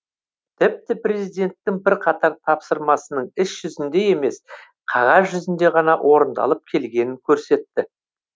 тіпті президенттің бірқатар тапсырмасының іс жүзінде емес қағаз жүзінде ғана орындалып келгенін көрсетті